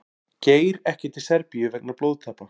Geir ekki til Serbíu vegna blóðtappa